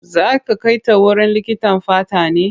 Zai ka kai ta wurin likitan fata ne?